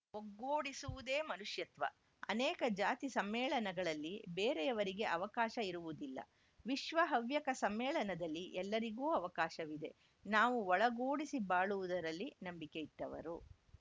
ಒಗ್ಗೂಡಿಸುವುದೇ ಮನುಷ್ಯತ್ವ ಅನೇಕ ಜಾತಿ ಸಮ್ಮೇಳನಗಳಲ್ಲಿ ಬೇರೆಯವರಿಗೆ ಅವಕಾಶ ಇರುವುದಿಲ್ಲ ವಿಶ್ವ ಹವ್ಯಕ ಸಮ್ಮೇಳನದಲ್ಲಿ ಎಲ್ಲರಿಗೂ ಅವಕಾಶವಿದೆ ನಾವು ಒಳಗೂಡಿಸಿ ಬಾಳುವುದರಲ್ಲಿ ನಂಬಿಕೆ ಇಟ್ಟವರು